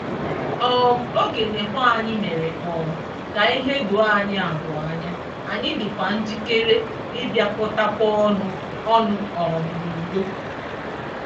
um Oge nkewa anyị mere um ka ihe doo anyị abụọ anya, anyị dịkwa njikere ịbịakọtakwa ọnụ ọnụ um n'udo.